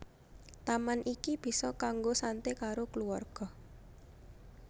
Taman iki bisa kanggo santé karo kluwarga